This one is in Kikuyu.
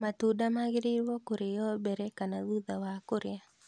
Matunda magĩrĩrwo kũrĩo mbere kana thutha wa kũrĩa?